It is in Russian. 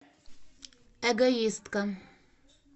эгоистка